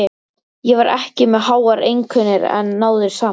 Ég var ekki með háar einkunnir en náði samt.